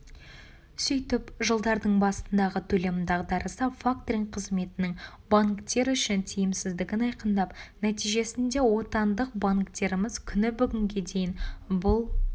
сөйтіп жылдардың басындағы төлем дағдарысы факторинг қызметінің банктер үшін тиімсіздігін айқындап нәтижесінде отандық банктеріміз күні бүгінге дейін бұл